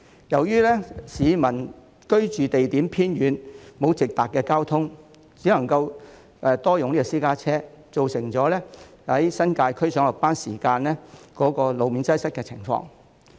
由於居所地點偏遠，沒有交通工具直達上班地點，很多新界居民只能夠使用私家車，造成上下班時間往返新界路面擠塞的情況。